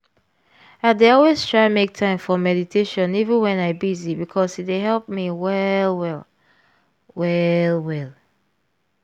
i dey always try make time for meditation even when i busy because e dey help me well well